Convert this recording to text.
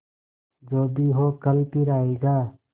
जो भी हो कल फिर आएगा